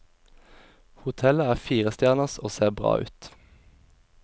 Hotellet er fire stjerners og ser bra ut.